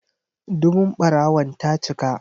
Dubun ɓarawon ta cika.